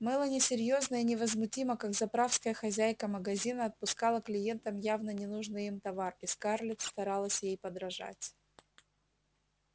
мелани серьёзно и невозмутимо как заправская хозяйка магазина отпускала клиентам явно ненужный им товар и скарлетт старалась ей подражать